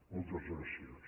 moltes gràcies